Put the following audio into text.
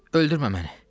Öldürmə məni.